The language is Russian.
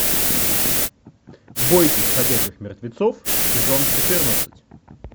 бойтесь ходячих мертвецов сезон четырнадцать